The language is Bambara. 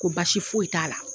Ko basi foyi t'a la.